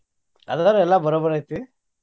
ಅದಾವ ಎಲ್ಲಾ ಬರೋಬರ್ ಐತಿ.